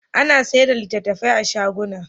A na sayarda da littattafai a shaguna